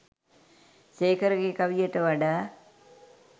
සේකරගේ කවියට වඩා